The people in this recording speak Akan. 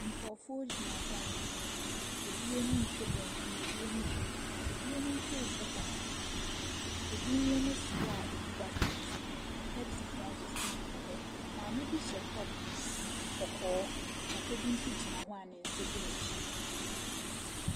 Nkurɔfoɔ gyina dan anim. Ebi ani rehwɛ benkum, ebi ani rehwɛ nifa, ebi ani nso rehwɛ dan no. Obi nneɛma si hɔ a ɛgu basket mu. Pepsi foɔ nso stand wɔ hɔ. Maame bi hyɛ top kɔkɔɔ. Papa bi nso gyina hɔ a ne nsa gu n'akyi.